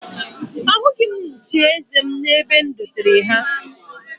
Ahụghị m nchieze m n'ebe e dotere ha